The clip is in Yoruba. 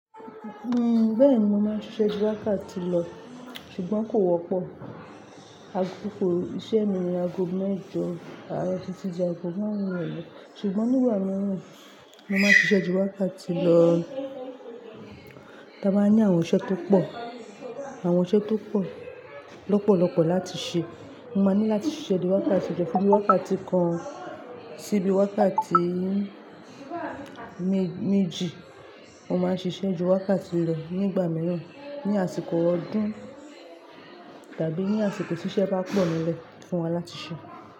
Uhm, bẹ́ẹ̀ni mo máa ń ṣẹ́ ju wákàtí lọ, ṣùgbọ́n kò wọ́pọ̀. Àkókò iṣẹ́ mi ni ago mẹ́jọ àárọ̀ títí di ago márùn-ún irọ̀le. Ṣùgbọ́n nígbà mìíràn, mo máa ń ṣiṣẹ́ ju wákàtí lọ. Ta bá ní àwọn iṣẹ́ tó pọ̀, àwọn iṣẹ́ tó pọ̀, lọ́pọ̀lọ́pọ̀ láti ṣe, mo máa ní láti ṣiṣẹ́ di wákàtí jọ, fun bii wákàtí kan sí bíi wákàtí me méjì. Mo máa ń ṣiṣẹ́ ju wákàtí lọ nígbà mìíràn ní àsìkò ọdún tàbí ní àsìkò tí iṣẹ́ bá pọ̀ nílẹ̀ fún wa láti ṣe.